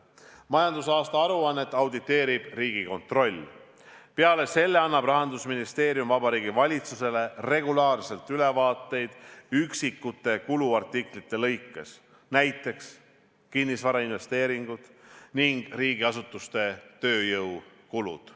Majandusaasta aruannet auditeerib Riigikontroll, peale selle annab Rahandusministeerium Vabariigi Valitsusele regulaarselt ülevaateid üksikute kuluartiklite kaupa, näiteks kinnisvarainvesteeringud ning riigiasutuste tööjõukulud.